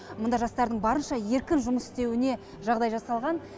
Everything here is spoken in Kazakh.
мұнда жастардың барынша еркін жұмыс істеуіне жағдай жасалған